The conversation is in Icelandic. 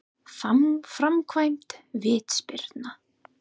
Framkvæmd vítaspyrna?